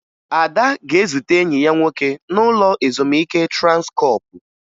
Ada ga-ezute enyi ya nwoke n'ụlọ ezumike Transkọọpụ